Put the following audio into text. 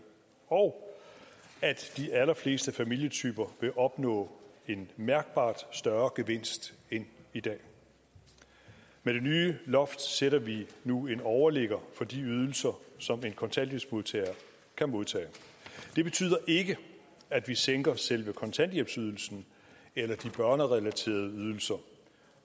og at de allerfleste familietyper vil opnå en mærkbart større gevinst end i dag med det nye loft sætter vi nu en overligger for de ydelser som en kontanthjælpsmodtager kan modtage det betyder ikke at vi sænker selve kontanthjælpsydelsen eller de børnerelaterede ydelser